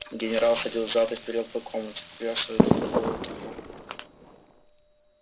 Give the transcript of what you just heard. генерал ходил взад и вперёд по комнате куря свою пенковую трубку